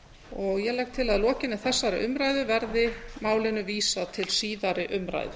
ég legg til að að lokinni þessari umræðu verði málinu vísað til síðari umræðu